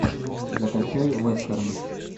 закачай вестерн